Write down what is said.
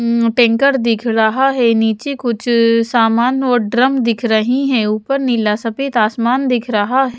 उम् tanker दिख रहा है नीचे कुछ सामान और ड्रम दिख रही हैं ऊपर नीला सफेद आसमान दिख रहा --